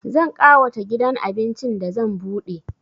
Zan ƙawata gidan abincin da zan buɗe